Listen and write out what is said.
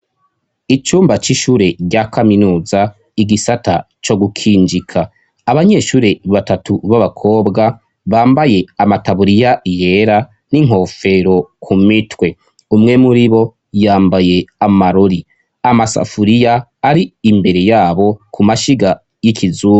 Icumba c'ishure rya kaminuza igisata co gukinjika abanyeshure batatu b'abakobwa bambaye amataburiya yera n'inkofero ku mitwe umwe muri bo yambaye amarori amasafuriya ari imbere yabo ku mashiga y'ikizu.